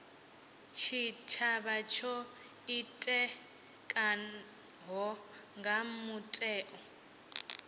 tshitshavha tsho ḓitikaho nga mutheo